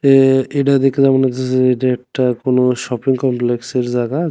এ এটা দেখলা মনে হইতাসে যে এটা একটা কোনো শপিং কমপ্লেক্সের জাগা।